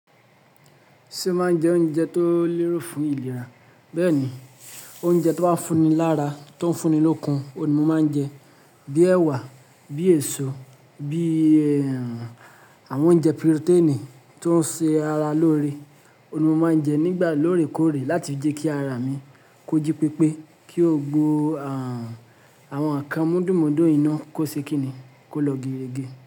Ṣé o máa ń jẹ oúnjẹ tó lérò fún ìlera? Bẹ́ẹ̀ni, oúnjẹ tó máa ń fún ni lára tó ń fún ni lókun oun ni mo máa ń jẹ. Bíi ẹ̀wà, bíi èso, bíi ẹ́, àwọn oúnjẹ protein tó ń ṣe ara lóore ni mo máa ń jẹ nígbà lóòrèkóòrè láti fi jẹ́ kí ara mi kó jí pépé, kí ó gbó à, àwọn nkan múdùmúdú yi ná kó ṣe kín ni, kó lọ geerege.